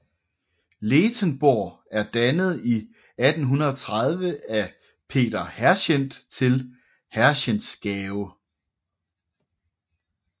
Lethenborg er dannet i 1830 af Peter Herschend til Herschendsgave